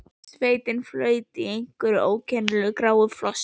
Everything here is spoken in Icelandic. Sveitin flaut öll í einhverju ókennilegu gráu flosi.